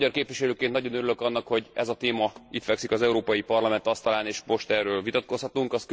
Magyar képviselőként nagyon örülök annak, hogy ez a téma itt fekszik az Európai Parlament asztalán, és most erről vitatkozhatunk.